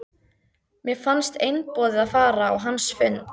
Mér fannst einboðið að fara á hans fund.